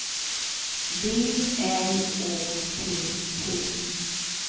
B L Å T T